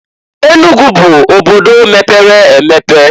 Enugu bu obodo mepere emepe.